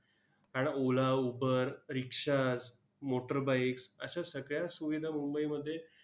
आन Ola, Uber, rikshaws, motorbikes अश्या सगळ्याच सुविधा मुंबईमध्ये